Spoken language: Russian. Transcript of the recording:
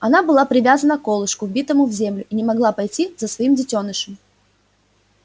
она была привязана к колышку вбитому в землю и не могла пойти за своим детёнышем